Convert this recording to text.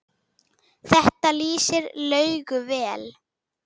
Þetta lýsir Laugu vel.